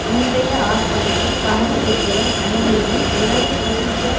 இன்றைய ஆர்ப்பாட்டத்தில் பங்குபெறுபவர் அனைவரையும் உலக சோசியலிச